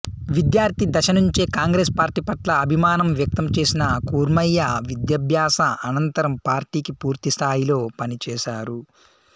విద్యార్థి దశ నుంచే కాంగ్రెస్ పార్టీ పట్ల అభిమానం వ్యక్తం చేసిన కూర్మయ్య విద్యాభ్యాస అనంతరం పార్టీకి పూర్తిస్థాయిలో పనిచేశారు